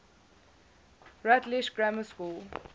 rutlish grammar school